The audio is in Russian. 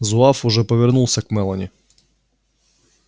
зуав уже повернулся к мелани